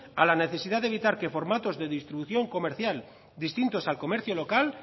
a la necesidad de evitar que formatos de distribución comercial distintos al comercio local